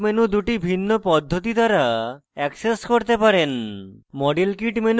আপনি pop up menu দুটি ভিন্ন পদ্ধতি দ্বারা অ্যাক্সেস করতে পারেন